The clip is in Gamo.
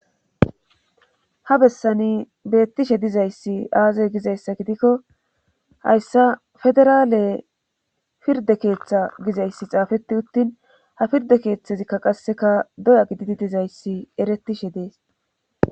Ha bessani bettishe dizayssi aazay gizayssa gidikko hayssa federaale firde keeththa gizayssi xaafeti uttin ha pirde keeththezikka qasseka doya gididi dizayssi eretishe dees.